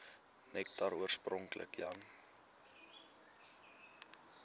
nektar oorspronklik jan